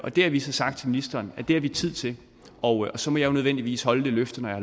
det har vi så sagt til ministeren at vi har tid til og så må jeg jo nødvendigvis holde det løfte når